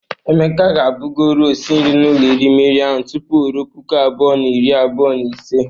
Emeka ga-abụgori osi nri n'ụlọ erimeri ahụ tupu arọ puku abụọ na iri abụọ na ise.